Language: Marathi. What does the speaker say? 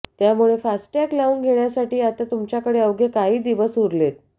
त्यामुळे फास्टॅग लावून घेण्यासाठी आता तुमच्याकडे अवघे काही दिवस उरलेत